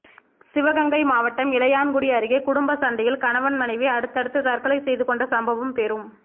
சிவகங்கை மாவட்டம் இளையான்குடி அருகே குடும்ப சண்டையில் கணவன் மனைவி அடுத்தடுத்து தற்கொலை செய்து கொண்ட சம்பவம் பெரும்